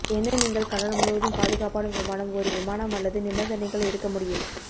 என்ன நீங்கள் கடல் முழுவதும் பாதுகாப்பான விமானம் ஒரு விமானம் அல்லது நிபந்தனைகள் எடுக்க முடியும்